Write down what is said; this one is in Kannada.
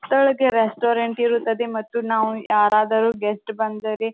ಕೆಳಗೆ ರೆಸ್ಟೋರೆಂಟ್ ಇರುತ್ತದೆ ಮತ್ತು ನಾವು ಯಾರಾದರೂ ಗೆಸ್ಟ್ ಬಂದರೆ--